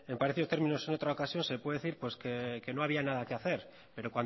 parecido términos en otra ocasión se puede decir que no había nada que hacer pero